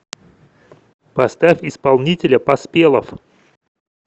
поставь исполнителя поспелов